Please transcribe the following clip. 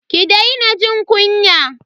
Ki daina jin kunya.